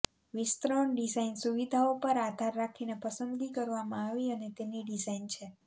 વિસ્તરણ ડિઝાઇન સુવિધાઓ પર આધાર રાખીને પસંદગી કરવામાં આવી અને તેની ડિઝાઇન છે